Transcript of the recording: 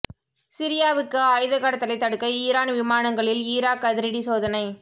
சிரியாவுக்கு ஆயுத கடத்தலை தடுக்க ஈரான் விமானங்களில் ஈராக் அதிரடி சோதனை